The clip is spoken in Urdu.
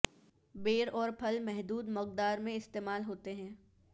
بیر اور پھل محدود مقدار میں استعمال ہوتے ہیں